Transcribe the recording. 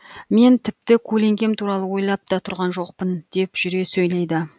мен тіпті көлеңкем туралы ойлап та тұрған жоқпын деп жүре сөйледі